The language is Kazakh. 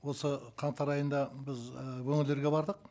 осы қаңтар айында біз ы өңірлерге бардық